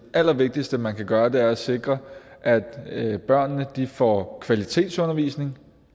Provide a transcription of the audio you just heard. allervigtigste man kan gøre er at sikre at børnene får kvalitetsundervisning